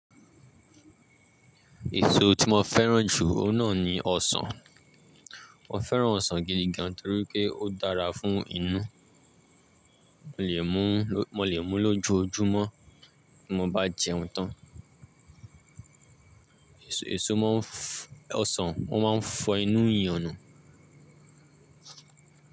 Èso tí mo fẹ́ràn jù náà ni ọsàn. Mo fẹ́ràn ọsàn gidi gan torí pé ó dára fún inú. Mo lè mú lójoójúmọ́ tí mo bá jẹun tán. Èso ọsàn máa ń fọ inú eyan nù.